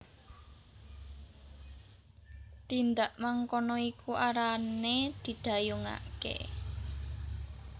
Tindak mangkono iku arane didhayungake